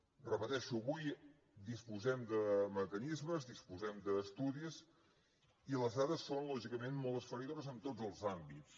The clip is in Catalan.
ho repeteixo avui disposem de mecanismes disposem d’estudis i les dades són lògicament molt esfereïdores en tots els àmbits